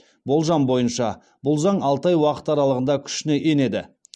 болжам бойынша бұл заң алты ай уақыт аралығында күшіне енеді